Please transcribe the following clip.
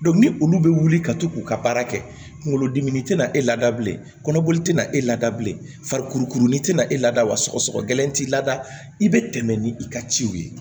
ni olu bɛ wuli ka to k'u ka baara kɛ kunkolodimi tɛ na e la bilen kɔnɔboli tɛ na e la bilen farikolokuruni tɛ na e la wa sɔgɔsɔgɔ gɛlɛn t'i lada i bɛ tɛmɛ ni i ka ciw ye